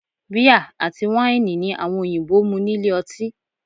Bíà àti wáìnì ni àwọn òyìnbó mu nílé ọtí